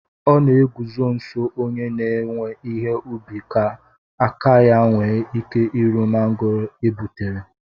O na eguzo nso onye na-ewe ihe ubi ka aka ya nwee ike iru mangoro e gbutere